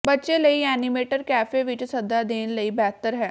ਬੱਚੇ ਲਈ animator cafe ਵਿਚ ਸੱਦਾ ਦੇਣ ਲਈ ਬਿਹਤਰ ਹੈ